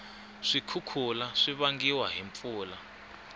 swikhukhula swivangiwa hhi mpfula